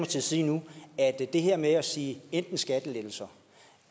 sige nu er at det her med at sige enten skattelettelser